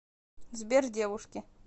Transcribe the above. сбер девушки